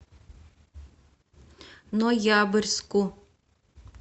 ноябрьску